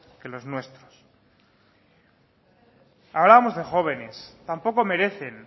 que los nuestros hablamos de jóvenes tampoco merecen